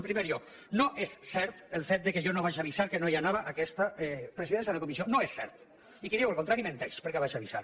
en primer lloc no és cert el fet que jo no avisés que no anava a aquesta presidència de comissió no és cert i qui digui el contrari menteix perquè vaig avisar